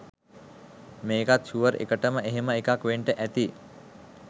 මේකත් ෂුවර් එකටම එහෙම එකක් වෙන්ඩ ඇති